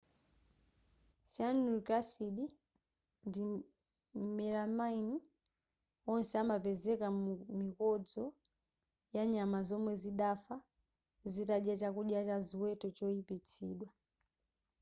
cyanuric acid ndi melamine onse anapezeka mu mikodzo yanyama zomwe zidafa zitadya chakudya cha ziweto choyipitsidwa